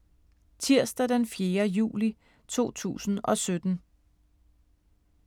Tirsdag d. 4. juli 2017